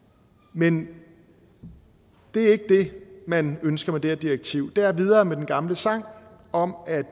men det er ikke det man ønsker med det her direktiv det er videre med den gamle sang om at